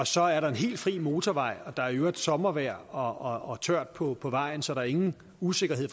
så er der en helt fri motorvej og der er i øvrigt sommervejr og tørt på på vejen så der er ingen usikkerhed